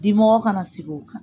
Dimɔgɔ kana sigi o kan.